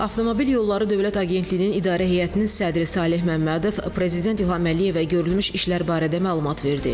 Avtomobil yolları dövlət agentliyinin idarə heyətinin sədri Saleh Məmmədov prezident İlham Əliyevə görülmüş işlər barədə məlumat verdi.